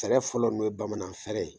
Tɛrɛ fɔlɔ min ye bamanan fɛɛrɛ ye.